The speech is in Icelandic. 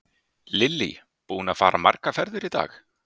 Lillý: Búinn að fara margar ferðir í dag?